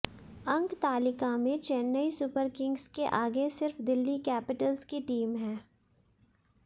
अंकतालिका में Chennai Super Kings के आगे सिर्फ दिल्ली कैपिटल्स की टीम है